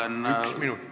Aitäh!